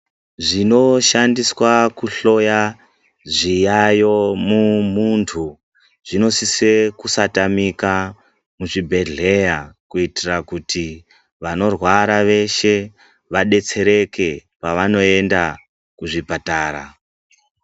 Zvinoshandiswa kuhloya zviyayo muntu zvinosisa kusatamika muzvibhedhlera kuitira kuti vanorwara veshe vadetsereke pavanoenda muzvipatara.